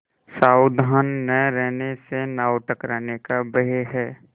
सावधान न रहने से नाव टकराने का भय है